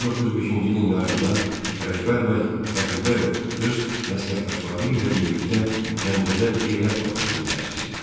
1905-ci ilin yayında Ələkbər bəy Rəfibəyov öz məsləkdaşları ilə birlikdə Gəncədə Qeyrət partiyasını təsis etdilər.